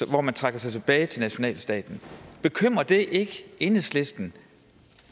hvor man trækker sig tilbage til nationalstaten bekymrer det ikke enhedslisten